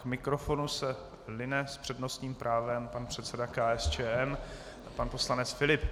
K mikrofonu se line s přednostním právem pan předseda KSČM pan poslanec Filip.